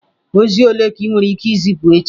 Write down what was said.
Ozi ole ka ị nwere ike izipu echi?